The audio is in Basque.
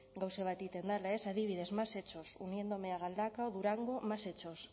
gauza bat egiten dela ez adibidez más hechos uniéndome a galdakao durango más hechos